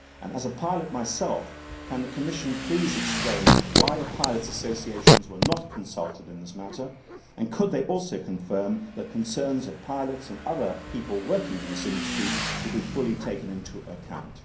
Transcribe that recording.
Speaking as a pilot myself can the Commission please explain why the pilots' associations were not consulted in this matter, and could it also confirm that the concerns of pilots and other people working in this industry will be fully taken into account?